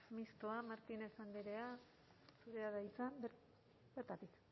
mistoa martínez andrea zurea da hitza bertatik